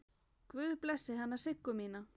Guð blessi hana Siggu mína.